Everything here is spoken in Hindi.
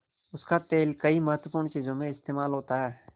उसका तेल कई महत्वपूर्ण चीज़ों में इस्तेमाल होता है